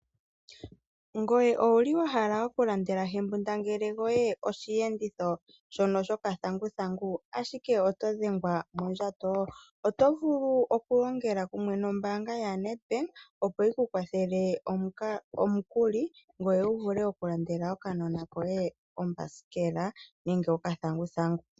Ngoye owuli wahala okulandela hembingangele gwoye osheenditho shono shokathanguthangu ashike oto dhengwa mondjato, otovulu oku longela kumwe nombaanga Nedbank opo yiku kwathele omukuli opo wuvule okulandela okanona koye okathanguthangu .